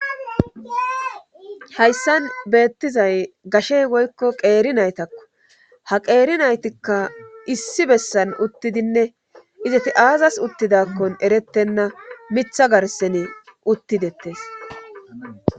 Hayssan beettizay gashey woykko qeeri naytakko ha qeeri naytikka issi bessan uttidinne izati aazas uttidakkon erettenna mitha garsene uttidettes.